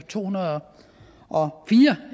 to hundrede og fire